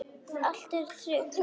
Allt er tryggt.